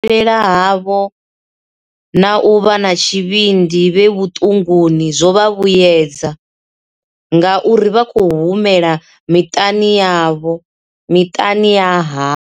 Zwazwino u konḓelela havho na u vha na tshivhindi vhe vhuṱunguni zwo vha vhuedza, ngauri vha khou humela miṱani ya havho.